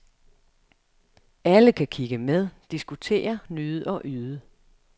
Alle kan kigge med, diskutere, nyde og yde.